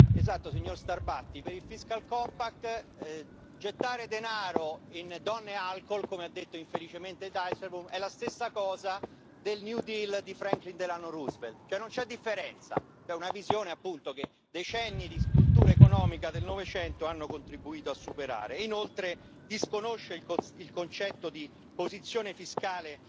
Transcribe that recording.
Esatto, signor Starbatty, per il fiscal compact gettare denaro in donne e alcol, come ha detto infelicemente Dijsselbloem, è la stessa cosa del New Deal di Franklin Delano Roosevelt non c'è differenza cioè, una visione, appunto, che decenni di cultura economica del Novecento hanno contribuito a superare e, inoltre, disconosce il concetto di posizione fiscale